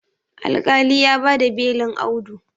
alƙali ya ba da belin Audu